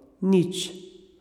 Nič.